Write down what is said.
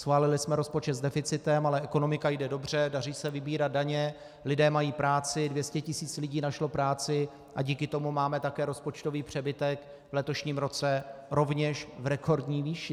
Schválili jsme rozpočet s deficitem, ale ekonomika jde dobře, daří se vybírat daně, lidé mají práci, 200 tisíc lidí našlo práci a díky tomu máme také rozpočtový přebytek v letošním roce rovněž v rekordní výši.